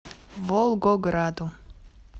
волгограду